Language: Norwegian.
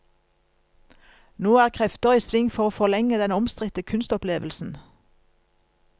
Nå er krefter i sving for å forlenge den omstridte kunstopplevelsen.